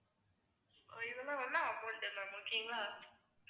so இதெல்லாம் வந்து amount ma'am okay ங்களா